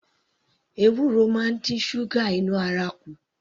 Ewuro máa ń dín ṣúgà inú ara kù